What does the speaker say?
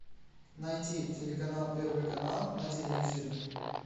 найти телеканал первый канал на телевизоре